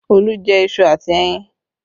Olu jẹ iṣu àti ẹyin